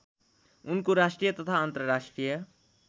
उनको राष्ट्रिय तथा अन्तर्राष्ट्रिय